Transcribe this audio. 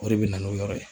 O de bɛ na n'o yɔrɔ ye